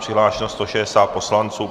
Přihlášeno 160 poslanců.